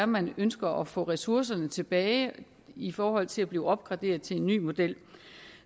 man ønsker at få ressourcerne tilbage i forhold til at blive opgraderet til en ny model